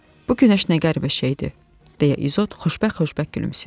Bu günəş nə qəribə şeydir, deyə İzot xoşbəxt-xoşbəxt gülümsəyir.